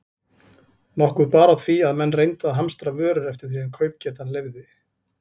Nokkuð bar á því, að menn reyndu að hamstra vörur eftir því sem kaupgetan leyfði.